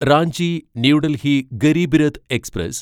Ranchi new Delhi Garib Rath express